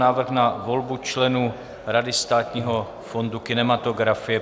Návrh na volbu členů Rady Státního fondu kinematografie